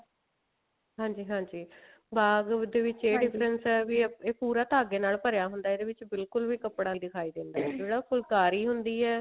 ਹਾਂਜੀ ਹਾਂਜੀ ਬਾਗ ਦੇ ਵਿੱਚ ਇਹ difference ਹੈ ਇਹ ਪੂਰਾ ਧਾਗੇ ਨਾਲ ਭਰਿਆ ਹੁੰਦਾ ਇਹਦੇ ਵਿੱਚ ਬਿਲਕੁਲ ਵੀ ਕੱਪੜਾ ਨਹੀ ਦਿਖਾਈ ਦਿੰਦਾ ਫੁਲਕਾਰੀ ਹੁੰਦੀ ਹੈ